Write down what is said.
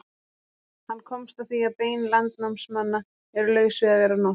Hann komst að því að bein landnámsmanna eru laus við að vera norsk.